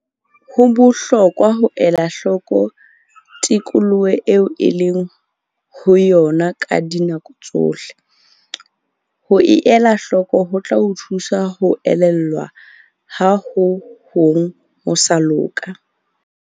Ho bohlokwa ho ela hloko tikoloho eo o leng ho yona ka dinako tsohle. Ho elahloko ho tla o thusa ho elellwa ha ho hong ho sa loka.